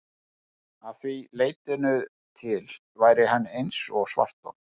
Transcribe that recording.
Að því leytinu til væri hann eins og svarthol.